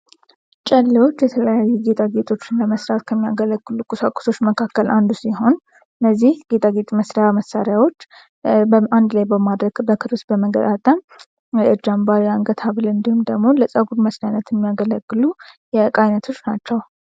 ጸልዮች የተለያዩ ጌጣጌጦችን ለመስራት የሚያገለግሉ ኮሳቁሶች መካከል አንዱ ሲሆን እነዚህ አንድ ላይ በማድረግ ጌጣጌጥ መስሪያ መሣሪያዎች አንድ ላይ በማድረግ የእጅ አምባር የአንገት ሀብል እንደዚሁም ደግሞ ለጸጉር መሰራት የሚያገለግሉ የዕቃ አይነቶች ናቸው።